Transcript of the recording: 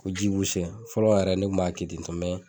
O fɔlɔ yɛrɛ ne tun b'a kɛ ten